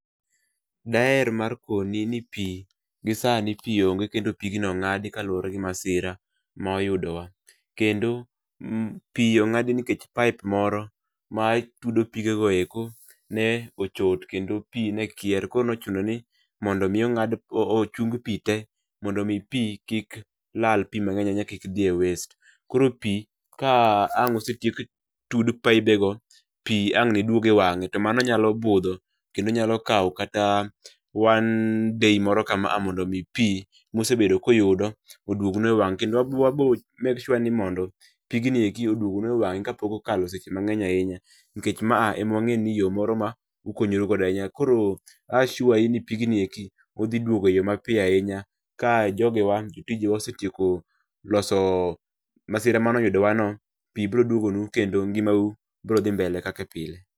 Daer mar koni ni pii, gisani pii onge kendo pigno ong'adi kaluwore gi masira ma oyudo wa. Kendo um pii ong'adi nikech pipe moro ma tudo pigego eko, ne ochot kendo pii nekier. Koro nochuno ni, mondo mi ong'ad ochung pii tee mondo mi pii kik lal, pii mang'eny ahinya kik dhi e waste. Koro pii, ka ang' osetiek tud pibego, pii ang' neduog e wang'e. To mano nyalo budho, kendo nyalo kaw kata one day moro kama a mondo mi pii musebedo kuyudo, oduog nu e wang'e. Kendo wabo wabo make sure ni mondo, pigni eki oduog nu e wang'e kapok okalo seche mang'eny ainya nikech ma a ema wang'e ni yo moro ma, ukonyru godo ahinya. Koro a assure i ni pigni eki, odhiduogo eyo mapiyo ahinya ka jogewa jotijewa osetieko, loso masira manoyudowa no, pii broduogo nu kendo ngimau, bro dhi mbele kake pile